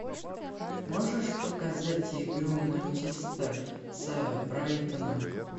можешь показать игру манчестер с брайтоном